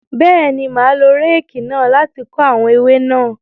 Bẹẹni, ma lo réèkì náà láti ko awọn ewe náà